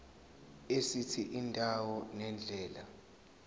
esithi indawo nendlela